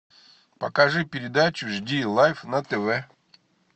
покажи передачу жди лайф на тв